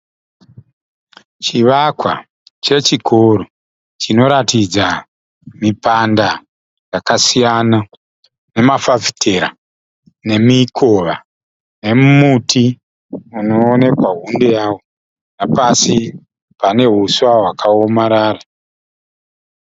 Chivakwa chechikoro chinoratidza mipanda yakasiyana, nemafafitera nemikova nemuti unoonekwa hunde yawo, nepasi pane huswa hwakaomarara.